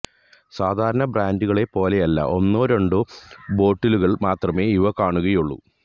സാധാരണ ബ്രാന്ഡുകളെ പോലെയല്ല ഒന്നോ രണ്ടോ ബോട്ടിലുകള് മാത്രമേ ഇവ കാണുകയുള്ളൂ